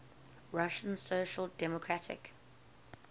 russian social democratic